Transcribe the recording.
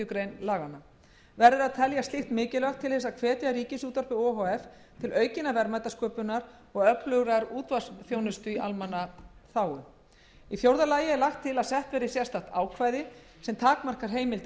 grein laganna verður að telja slíkt mikilvægt til þess að hvetja ríkisútvarpið o h f til aukinnar verðmætasköpunar og öflugrar útvarpsþjónustu í almannaþágu í fjórða lagi er lagt til að sett verði sérstakt ákvæði sem takmarkar heimild